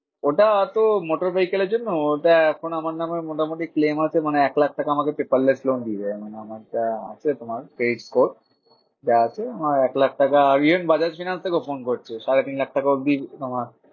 ওটা তো motor vehicle এর জন্য। ওটা এখন আমার নামে মোটামুটি claim মানে আছে এক লাখ আমাকে paperless loan দিয়ে দেবে। মানে আমার যা আছে তোমার credit score যা আছে আমার এক লাখ টাকা বাজাজ ফিনান্স থেকেও ফোন করছে সাড়ে তিন লাখ টাকা অব্ধি আমার